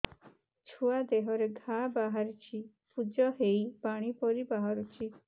ଛୁଆ ଦେହରେ ଘା ବାହାରିଛି ପୁଜ ହେଇ ପାଣି ପରି ବାହାରୁଚି